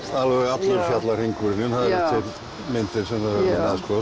allur fjallahringurinn myndir